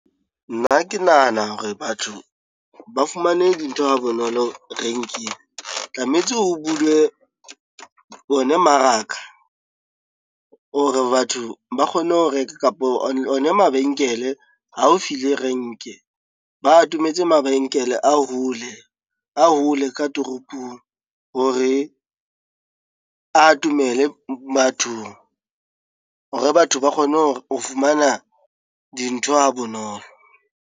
Nna ke nahana hore batho ba fumane dintho ha bonolo renkeng tlametse ho bulwe ona mmaraka, or batho ba kgone ho reka kapa ona mabenkele haufi le renke. Ba atometse mabenkele a hole a hole ka toropong hore a atomele bathong hore batho ba kgone ho fumana dintho ha bonolo.